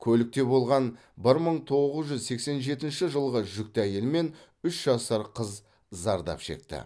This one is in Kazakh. көлікте болған бір мың тоғыз жүз сексен жетінші жылғы жүкті әйел мен үш жасар қыз зардап шекті